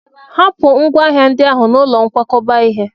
Hapụ ngwá hnahịndị ahụ n'ụlọ nkwakọba ihe!